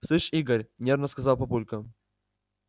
слышь игорь нервно сказал папулька